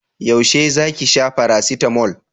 Yaushe za ki sha farasitamol?